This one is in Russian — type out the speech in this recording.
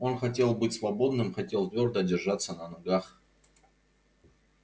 он хотел быть свободным хотел твёрдо держаться на ногах